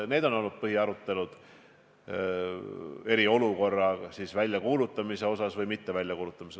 Need on olnud põhiteemad aruteludel eriolukorra väljakuulutamise üle.